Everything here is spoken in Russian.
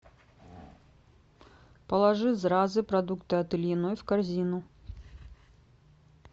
положи зразы продукты от ильиной в корзину